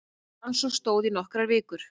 Rannsókn stóð í nokkrar vikur